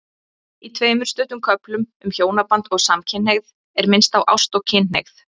Í tveimur stuttum köflum um hjónaband og samkynhneigð er minnst á ást og kynhneigð.